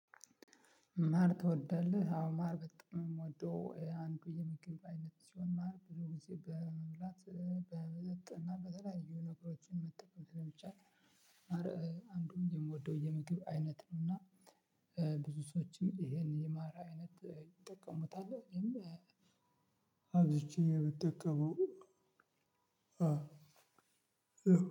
ማር ትወዳለህ? አዎ ማር በጣም የምወደው አንዱ የምግብ አይነት ሲሆን ማር ብዙ ጊዜ በመብላት በመጠጥ እና በተለያዩ ነገሮችም መጠቀም ስለሚቻል አንዱን የምወደው የምግብ አይነት ነው እና ብዙ ሰዎችም ይሄን የማር አይነት ይጠቀሙታል። እኔም አብዝቼ ነው ምጠቀመው።